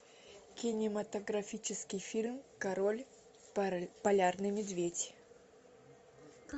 кинематографический фильм король полярный медведь